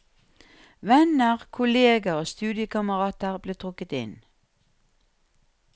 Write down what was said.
Venner, kolleger og studiekamerater ble trukket inn.